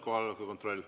Kohaloleku kontroll.